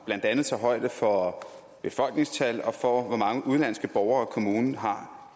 blandt andet tager højde for befolkningstallet og for hvor mange udenlandske borgere kommunen har